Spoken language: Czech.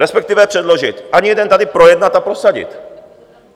Respektive předložit - ani jeden tady projednat a prosadit.